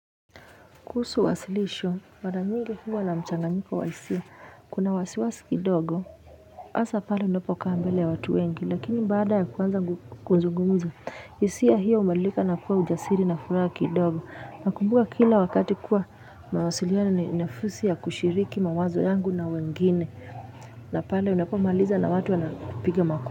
Kuhusu wasilisho, mara nyingi huwa na mchanganyiko wa hisia, kuna wasiwasi kidogo, hasa pale unapokaa mbele ya watu wengi, lakini bada ya kuanza kuzungumza, hisia hiyo hubadilika na kuwa ujasiri na furaha kidogo. Nakumbuka kila wakati kuwa mawasiliano ni nafasi ya kushiriki mawazo yangu na wengine, na pale unapomaliza na watu wanapiga makofi.